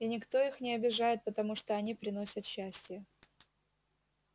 и никто их не обижает потому что они приносят счастье